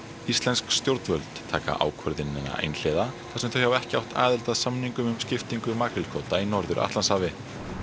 íslensk stjórnvöld taka ákvörðunina einhliða þar sem þau hafa ekki átt aðild að samningum um skiptingu makrílkvóta í Norður Atlantshafi